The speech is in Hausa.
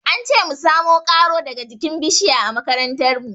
An ce mu samo ƙaro daga jikin bishiya a makarantar mu.